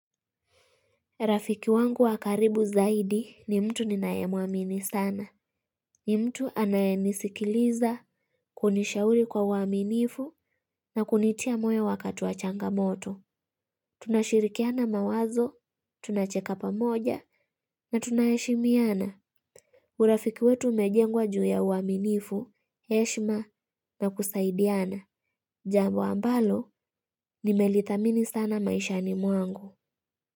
Rafiki wangu wa karibu zaidi ni mtu ninayemuamini sana. Ni mtu anayenisikiliza kunishauri kwa uwaminifu na kunitia moyo wakati wa changamoto. Tunashirikiana mawazo, tunacheka pamoja na tunaheshimiana. Urafiki wetu umejengwa juu ya uwaminifu, heshima na kusaidiana. Jambo ambalo nimelitamini sana maishani mwangu.